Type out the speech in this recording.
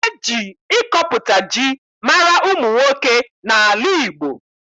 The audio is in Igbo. E ji ịkọpụta ji mara ụmụ nwoke n'ala Igbo